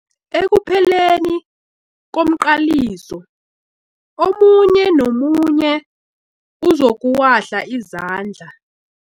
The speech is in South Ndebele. Ekupheleni komqaliso omunye nomunye uzokuwahla izandla.